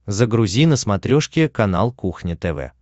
загрузи на смотрешке канал кухня тв